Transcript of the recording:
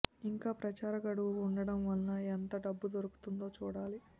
ఇంకా ప్రచార గడువు ఉండటం వల్ల ఎంత డబ్బు దొరుకుతుందో చూడాలి